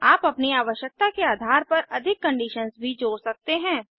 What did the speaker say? आप अपनी आवश्यकता के आधार पर अधिक कंडीशंस भी जोड़ सकते हैं